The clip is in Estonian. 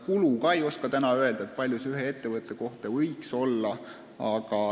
Ka ei oska täna öelda, kui suur võiks olla ühe ettevõtte kulu.